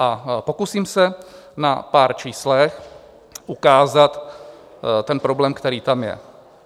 A pokusím se na pár číslech ukázat ten problém, který tam je.